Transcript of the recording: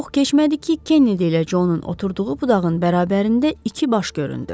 Çox keçmədi ki, Kennedy ilə Conun oturduğu budağın bərabərində iki baş göründü.